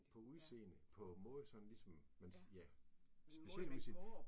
På udseende, på måde sådan ligesom men ja, specielt udseende